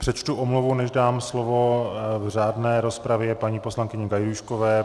Přečtu omluvu, než dám slovo v řádné rozpravě paní poslankyni Gajdůškové.